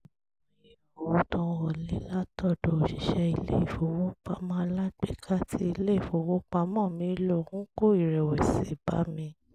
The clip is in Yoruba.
àìmọye owó tó ń wọlé látọ̀dọ̀ òṣìṣẹ́ ilé ìfowópamọ́ alágbèéká tí ilé ìfowópamọ́ mi ń lò ń kó ìrẹ̀wẹ̀sì bá mi